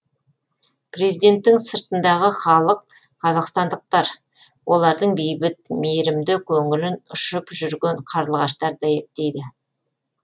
президенттің сыртындағы халық қазақстандықтар олардың бейбіт мейірімді көңілін ұшып жүрген қарлығаштар дәйектейді